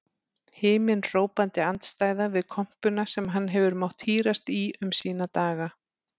Himinhrópandi andstæða við kompuna sem hann hefur mátt hírast í um sína daga.